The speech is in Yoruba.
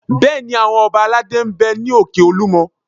Bẹ́ẹ̀ni, àwọn ọba aládé ń bẹ ní òkè Olúmọ